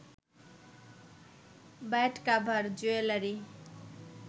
bed cover, jewellery